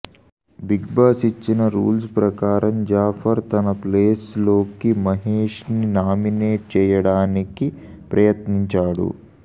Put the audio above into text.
big Boss ఇచ్చిన rules ప్రకారం జాఫర్ తన ప్లేస్ లోకి మహేష్ ని నామినేట్ చేయడానికి ప్రయత్నించాడు